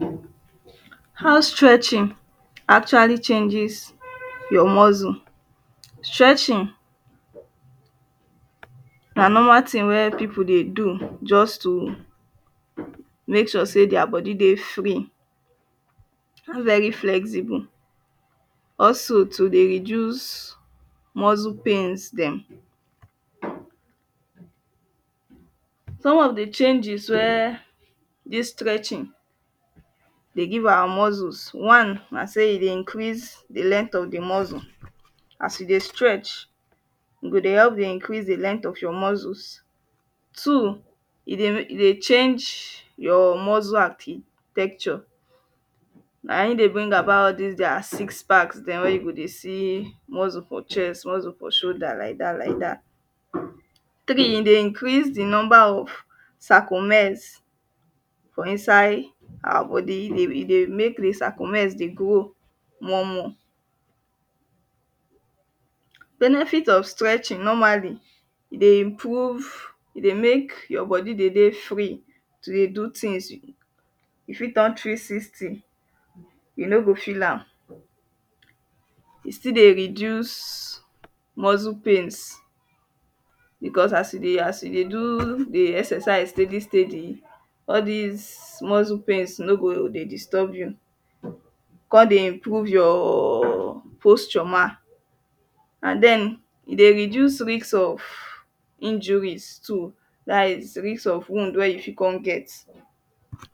hand stretching actually changes your muscle stretching na normal thing wey people just dey do just to make sure sey their body dey free an dey very flexible. also to dey reduce muscle pains dem some of the changes wey this stretching dey give our muscles one na sey e dey increase the length of the muscle as you dey stretch e go dey help dey increase the length of your muscles. two e dey change your muscle architecture na him dey bring about all this their six packs dem wey you go dey see muscle for chest muscle for shoulder like that like that three, e dey increase the number of saphomines inside our body. e dey make the saphomines dey grow more more benefits of stretching normally e dey improve e dey make your body dey dey free to dey do things. e fit dance three sixty e no go feel am e still dey reduce muscle pains because as e dey as e dey do the exercise steady steady all this muscle pains no go dey disturb you; come dey improve your posture mah an then e dey reduce risk of injuries too that is risk of wound wey you fit come get.